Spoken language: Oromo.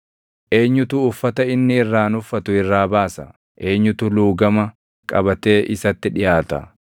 Eenyutu uffata inni irraan uffatu irraa baasa? Eenyutu luugama qabatee isatti dhiʼaata?